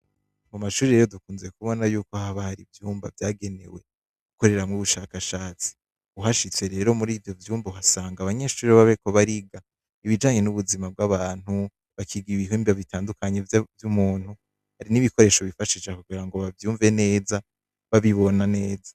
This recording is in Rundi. Mu amashure rero dukunze kubona yuko haba hari ivyumba vyagenewe gukoreramwo ubushakashatsi, uhashitse rero muri ivyo vyumba ukasanga abanyeshure baba bariko bariga ibijanye n'ubuzima bw'abantu, bakiga ibihimba bitandukanye vy'umuntu, n'ibikoresho bifashisha kugira abavyumve neza, babibona neza.